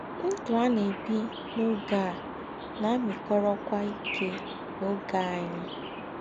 Ndụ́ à nà-ébí n’ọ́gé à nà-àmị́kọ́rọ́kwá íké nà ọ́gé ànyị́.